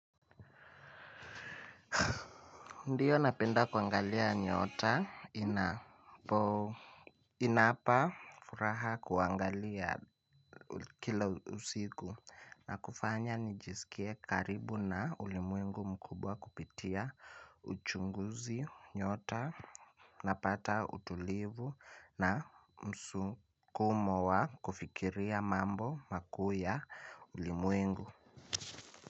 Ndiyo napenda kuangalia nyota inapo inapa furaha kuangalia kila usiku na kufanya nijisikie karibu na ulimwengu mkubwa kupitia uchunguzi nyota napata utulivu na msukumo wa kufikiria mambo makuu ya ulimwengu.